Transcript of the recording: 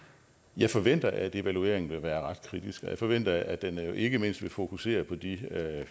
jeg forventer at evalueringen vil være ret kritisk og jeg forventer at den ikke mindst vil fokusere på de